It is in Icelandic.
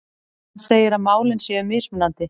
Hann segir að málin séu mismunandi